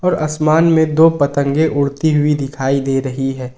आसमान में दो पतंगे उड़ती हुई दिखाई दे रही है।